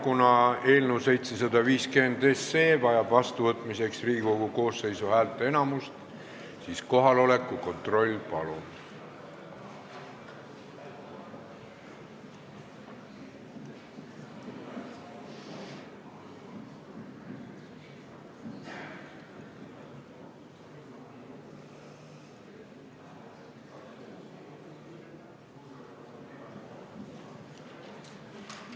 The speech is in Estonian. Kuna eelnõu 750 vajab seadusena vastuvõtmiseks Riigikogu koosseisu häälteenamust, siis teeme kohaloleku kontrolli, palun!